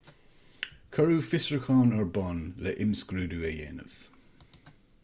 cuireadh fiosrúchán ar bun le himscrúdú a dhéanamh